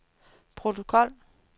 protokol